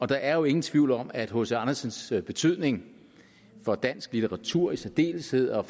der er jo ingen tvivl om at hc andersens betydning for dansk litteratur i særdeleshed og